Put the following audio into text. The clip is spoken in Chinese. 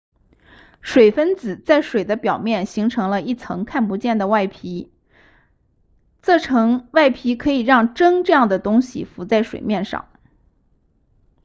水分子在水的表面形成了一层看不见的外皮这层外皮可以让针这样的东西浮在水面上